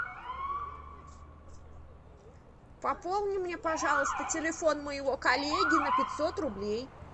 пополни мне пожалуйста телефон моего коллеги на пятьсот рублей